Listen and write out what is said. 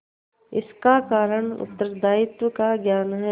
इसका कारण उत्तरदायित्व का ज्ञान है